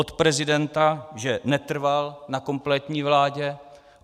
Od prezidenta, že netrval na kompletní vládě.